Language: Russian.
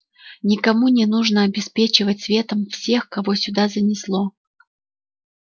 никому не нужно обеспечивать светом всех кого сюда занесло